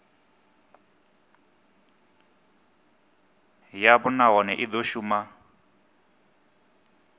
yavho nahone i do shuma